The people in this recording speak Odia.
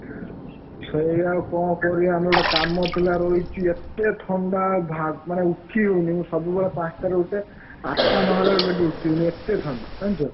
ସେଇ ଆଉ କଣ କରିଆ ଆମେ ଗୋଟେ କାମ ଥିଲା ରହିଛି, ଏତେ ଥଣ୍ଡା ମାନେ ଉଠି ହଉନି, ମୁଁ ସବୁବେଳେ ପାଞ୍ଚ ଟାରେ ଉଠେ ଆଠ ନ ହେଲା ବେଳକୁ ଏବେ ଉଠି ହଉନି। ଏତେ ଥଣ୍ଡା ଜାଣିଛ।